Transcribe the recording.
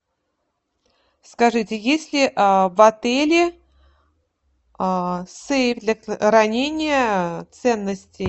скажите есть ли в отеле сейф для хранения ценностей